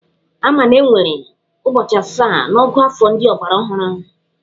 Ama na enwere ụbọchị asaa n'ọ̀gụ́àfọ̀ ndị ọgbaraọhụrụ.